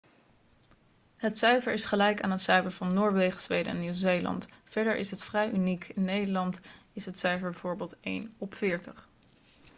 het cijfer is gelijk aan het cijfer van noorwegen zweden en nieuw-zeeland. verder is het vrij uniek in nederland is het cijfer bijvoorbeeld één op veertig